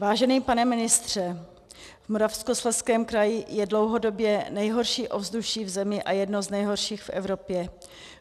Vážený pane ministře, v Moravskoslezském kraji je dlouhodobě nejhorší ovzduší v zemi a jedno z nejhorších v Evropě.